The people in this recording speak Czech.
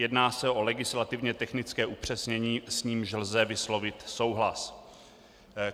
Jedná se o legislativně technické upřesnění, s nímž lze vyslovit souhlas.